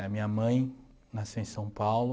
A minha mãe nasceu em São Paulo.